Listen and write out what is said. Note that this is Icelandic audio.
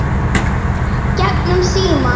Gegnum símann.